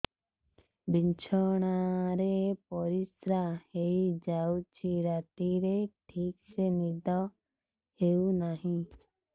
ବିଛଣା ରେ ପରିଶ୍ରା ହେଇ ଯାଉଛି ରାତିରେ ଠିକ ସେ ନିଦ ହେଉନାହିଁ